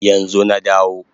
Yanzu na dawo